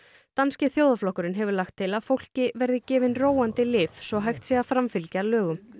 danski þjóðarflokkurinn hefur lagt til að fólki verði gefin róandi lyf svo hægt sé að framfylgja lögum